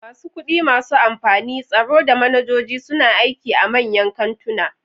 Masu kudi, masu amfani, tsaro, da manajoji suna aiki a manyan kantuna.